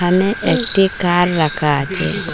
এখানে একটি কার রাখা আচে।